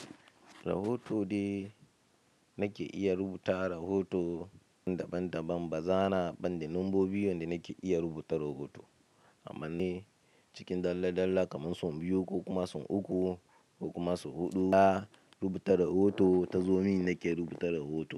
Rahoto dai nake iya rubuta rahoto daban-daban, ba zan banda lambobi yanda nake iya rubuta rahoto. Amma ni cikin dalla-dalla kamar sun biyu ko kuma sun uku ko kuma sun huɗu, na rubuta rahoto, tazo min nake rubuta rahoto.